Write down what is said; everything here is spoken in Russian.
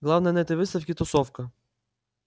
главное на этой выставке тусовка